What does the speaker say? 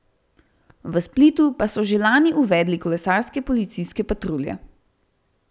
V Splitu pa so že lani uvedli kolesarske policijske patrulje.